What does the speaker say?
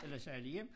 Eller sejlede hjem